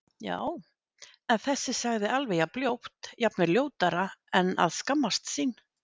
Já- en þessi sagði alveg jafn ljótt, jafnvel ljótara En að skammast sín?